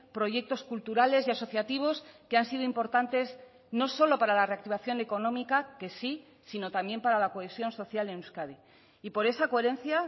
proyectos culturales y asociativos que han sido importantes no solo para la reactivación económica que sí sino también para la cohesión social en euskadi y por esa coherencia